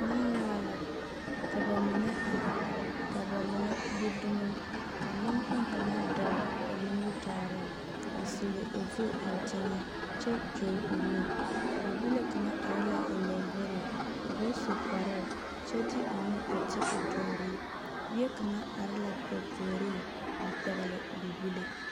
Nenyaga la, ka ba mine ar, ka ba mine gbi dumo. Ka neŋkpoŋ kaŋa dɔɔ ba nimitɔɔreŋ a sulli o zu eŋ teŋɛ kyɛ kyol o nu. Bibile kaŋa are la o lamboriŋ, o ba su kparoo kyɛ de o nu a ti o tooriŋ. Bie kaŋa ar la ba puoriŋ a pɛgele bibile.